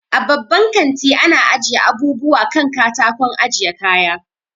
A babban kanti ana ajiye abubuwa kan katakon ajiye kaya